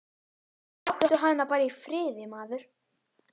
Láttu hana bara í friði, maður.